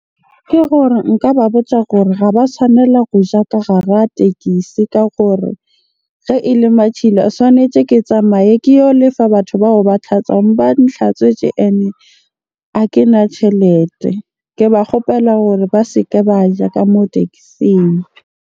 Ke gore nka ba botja gore ga ba tshwanela ho ja ka gara tekisi ka gore ge ele matshila tswanetje ke tsamaye ke yo lefa batho bao ba tlhatswang ba ntlhatswetse. Ene ha kena tjhelete, ke ba kgopela gore ba se ke ba ja ka moo teksing.